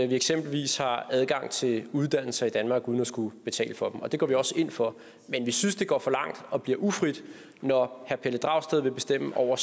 vi eksempelvis har adgang til uddannelse i danmark uden at skulle betale for den og det går vi også ind for men vi synes det går for langt og bliver ufrit når herre pelle dragsted vil bestemme over